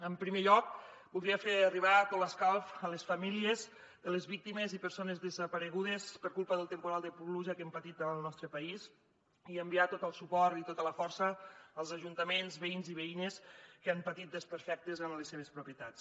en primer lloc voldria fer arribar tot l’escalf a les famílies de les víctimes i persones desaparegudes per culpa del temporal de pluja que hem patit al nostre país i enviar tot el suport i tota la força als ajuntaments veïns i veïnes que han patit desperfectes en les seves propietats